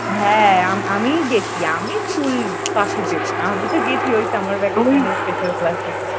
হ্যাঁ আমিই গেছি আমি school ফাঁকি দেব না আমি তো গেছি ওই summer vacation এর special class এ